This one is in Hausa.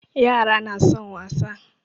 Yara na son wasa.